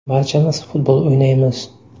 Barchamiz futbol o‘ynaymiz.